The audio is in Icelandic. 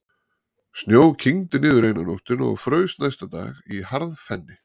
Snjó kyngdi niður eina nóttina og fraus næsta dag í harðfenni.